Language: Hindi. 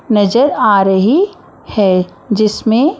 नजर आ रही है जिसमें--